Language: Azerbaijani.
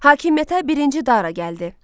Hakimiyyətə birinci Dara gəldi.